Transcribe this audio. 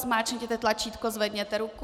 Zmáčkněte tlačítko, zvedněte ruku.